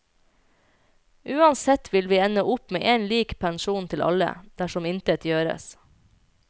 Uansett vil vi ende opp med en lik pensjon til alle, dersom intet gjøres.